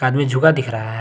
आदमी झुका दिख रहा है।